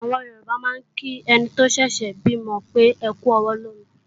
Àwọn Yorùbá máa ń kí ẹni tó ṣẹ̀ṣẹ̀ bímọ pé "ẹkú ọwọ́ lómi"